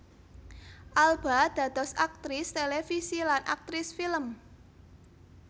Alba dados aktris télévisi lan aktris film